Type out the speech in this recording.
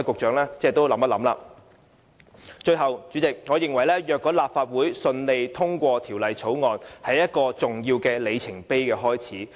主席，最後，我認為如果立法會順利通過《條例草案》，會是一個重要的里程碑。